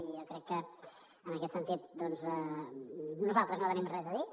i jo crec que en aquest sentit nosaltres no tenim res a dir